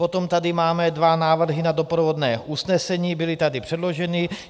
Potom tady máme dva návrhy na doprovodné usnesení, byly tady předloženy.